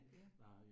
Ja